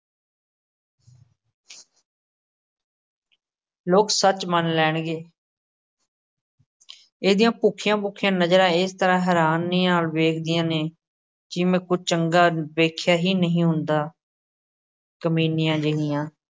ਲੋਕ ਸੱਚ ਮੰਨ ਲੈਣਗੇ ਇਹਦੀਆਂ ਭੁੱਖੀਆਂ-ਭੁੱਖੀਆਂ ਨਜ਼ਰਾਂ ਏਸ ਤਰ੍ਹਾਂ ਹੈਰਾਨੀ ਨਾਲ਼ ਵੇਖਦੀਆਂ ਨੇ, ਜਿਵੇਂ ਕੁਝ ਚੰਗਾ ਵੇਖਿਆ ਹੀ ਨਹੀਂ ਹੁੰਦਾ ਕਮੀਨੀਆਂ ਜਿਹੀਆਂ।